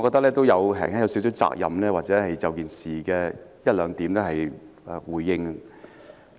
我認為我有責任就事件的一兩點作出回應。